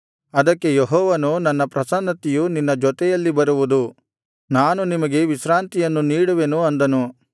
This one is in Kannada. ಅದಕ್ಕೆ ಯೆಹೋವನು ನನ್ನ ಪ್ರಸನ್ನತೆಯು ನಿನ್ನ ಜೊತೆಯಲ್ಲಿ ಬರುವುದು ನಾನು ನಿಮಗೆ ವಿಶ್ರಾಂತಿಯನ್ನು ನೀಡುವೆನು ಅಂದನು